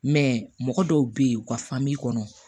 mɔgɔ dɔw bɛ yen u ka kɔnɔ